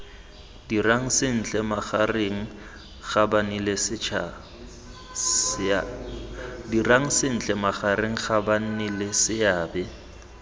dirang sentle magareng ga bannileseabe